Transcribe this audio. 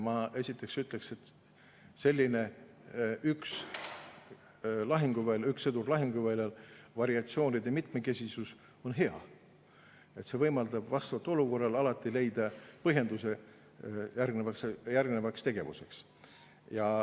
Ma esiteks ütleks, et selline üks-sõdur-lahinguväljal-variatsioonide mitmekesisus on hea, see võimaldab vastavalt olukorrale alati leida põhjenduse järgnevaks tegevuseks.